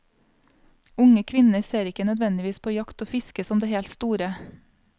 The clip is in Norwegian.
Unge kvinner ser ikke nødvendigvis på jakt og fiske som det helt store.